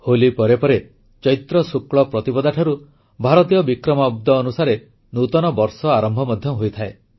ହୋଲି ପରେ ପରେ ଚୈତ୍ରଶୁକ୍ଳ ପ୍ରତିପଦାଠାରୁ ଭାରତୀୟ ବିକ୍ରମାଦ୍ଦ ଅନୁସାରେ ନୂତନ ବର୍ଷର ଆରମ୍ଭ ମଧ୍ୟ ହୋଇଥାଏ